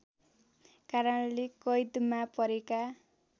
कारणले कैदमा परेका